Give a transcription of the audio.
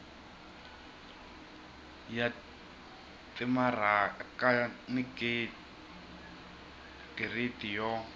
ya timaraka ni giridi yo